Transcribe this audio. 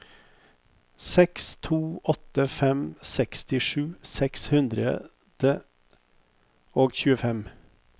seks to åtte fem sekstisju seks hundre og tjuefem